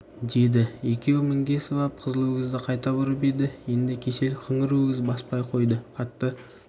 деді екеуі мінгесіп ап қызыл өгізді қайта бұрып еді енді кесел қыңыр өгіз баспай қойды қатты